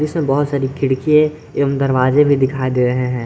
इसमें बहुत सारी खिड़कीये एवं दरवाजे भी दिखाई दे रहे हैं।